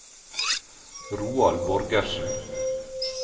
Roald Borgersen